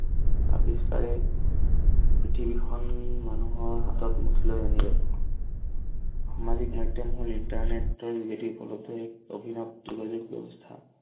আৱিস্কাৰে পৃথিৱীখন মানুহৰ হাতত মুঠি লৈ আনিলে। সামাজিক মাধ্যম হল- internet ৰ যোগেদি উপলদ্ধ এক অভিনৱ যোগাযোগ ব্যৱস্থা।